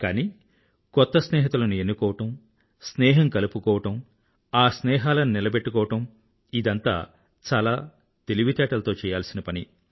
కానీ కొత్త స్నేహితులను ఎన్నుకోవడం స్నేహం కలుపుకోవడం ఆ స్నేహాలని నిలబెట్టుకోవడం ఇదంతా చాలా తెలివితేటలతో చెయ్యాల్సిన పని